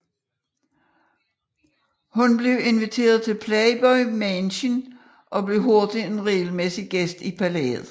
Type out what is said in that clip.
Hun blev inviteret til Playboy Mansion og blev hurtigt en regelmæssig gæst i palæet